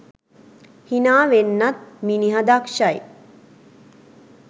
හිනා වෙන්නත් මිනිහ දක්ෂයි.